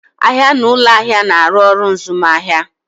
Ahịa na ụlọ ahịa na-arụ ọrụ mzụmahịa.